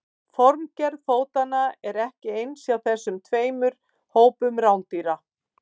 Formgerð fótanna er ekki eins hjá þessum tveimur hópum rándýra.